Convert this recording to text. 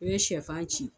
I bɛ sɛfan ci